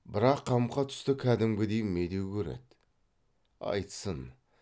бірақ қамқа түсті кәдімгідей медеу көреді айтсын